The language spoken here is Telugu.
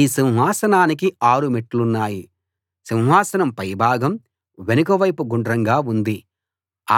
ఈ సింహానానికి 6 మెట్లున్నాయి సింహాసనం పైభాగం వెనక వైపు గుండ్రంగా ఉంది